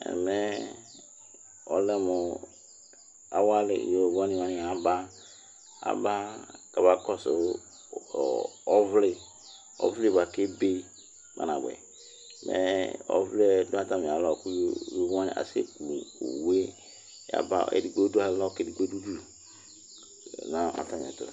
Ɛmɛ ɔlɛ mʋ awadɩ yovoni wanɩ abaAba ,afɔba kɔsʋ ɔvlɩ, ɔvlɩ bʋa kebe kpanabʋɛ, mɛ ɔvlɛ natamɩ alɔ kʋ yovo wanɩ asɛ ku owue yaba edigbo dʋ alɔ k' edigbo dʋ udu